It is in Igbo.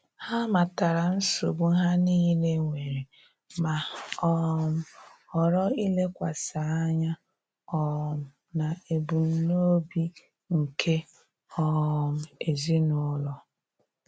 Ha matara nsogbu ha niile nwere, ma um ghọrọ ilekwasị anya um n'ebumnobi nke um ezinụlọ